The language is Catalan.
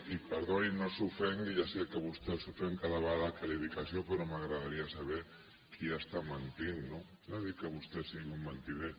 i perdoni no s’ofengui ja sé que vostè s’ofèn cada vegada que li dic això però m’agradaria saber qui està mentint no no dic que vostè sigui un mentider